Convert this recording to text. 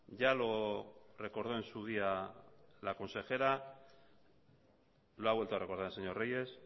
ya lo recordó en su día la consejera lo ha vuelto a recordar el señor reyes